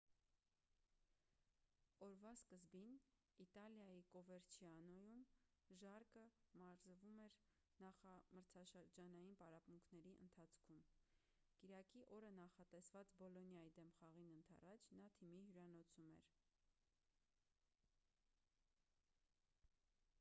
օրվա սկզբին իտալիայի կովերչիանոյում ժարկը մարզվում էր նախամրցաշրջանային պարապմունքների ընթացքում կիրակի օրը նախատեսված բոլոնիայի դեմ խաղին ընդառաջ նա թիմի հյուրանոցում էր